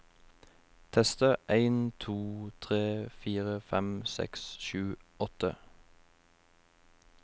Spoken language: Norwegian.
Tester en to tre fire fem seks sju åtte